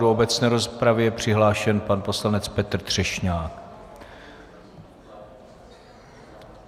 Do obecné rozpravy je přihlášen pan poslanec Petr Třešňák.